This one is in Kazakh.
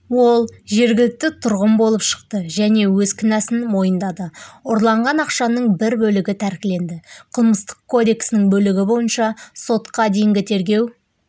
ол жергілікті тұрғын болып шықты және өз кінәсін мойындады ұрланған ақшаның бір бөлігі тәркіленді қылмыстық кодексінің бөлігі бойынша сотқа дейінгі тергеу